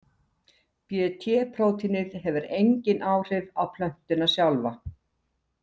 Bt-prótínið hefur engin áhrif á plöntuna sjálfa.